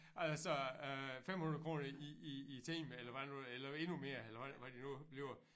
Altså øh 500 kroner i i i timen eller hvad nu eller endnu mere eller hvad hvad det nu bliver